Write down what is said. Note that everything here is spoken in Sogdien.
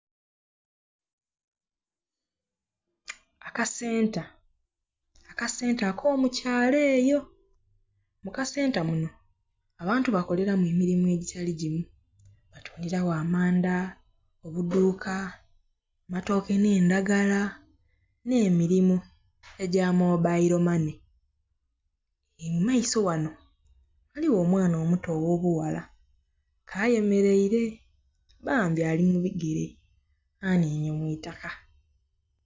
Akasenta. Akasente ak'omukyalo eyo. Mu kasenta muno, abantu bakoleramu emirimu egitali gimu. Batundilagho amanda, obuduuka, amatooke n'endagala, n'emirimu egya mobailo mane. Mu maiso ghano ghaligho omwana omuto ogh'obughala ke ayemeleire, bambi ali mu bigere, anhinhye mu itaka.